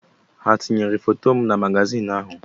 Ha etinyere foto na magazin ahụ?